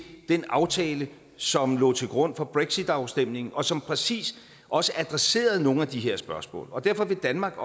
den aftale som lå til grund for brexitafstemningen og som præcis også adresserede nogle af de her spørgsmål og derfor vil danmark